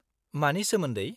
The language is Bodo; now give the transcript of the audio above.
-मानि सोमोन्दै?